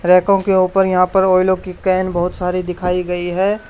रैकों के ऊपर यहां पर ऑइलो की कैन बहुत सारी दिखाई गई है।